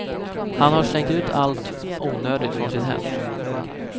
Han har slängt ut allt onödigt från sitt hem.